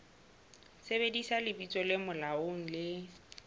sebedisa lebitso le molaong le